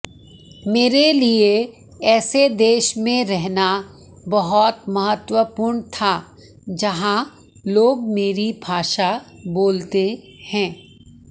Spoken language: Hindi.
मेरे लिए ऐसे देश में रहना बहुत महत्वपूर्ण था जहां लोग मेरी भाषा बोलते हैं